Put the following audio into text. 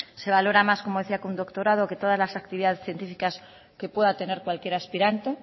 se valora más como decía que un doctorado que todas las actividades científicas que pueda tener cualquier aspirante